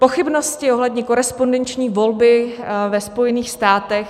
Pochybnosti ohledně korespondenční volby ve Spojených státech.